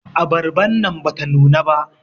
Abarban nan bata nuna ba.